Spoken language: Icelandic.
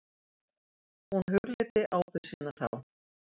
Hún hugleiddi ábyrgð sína þá.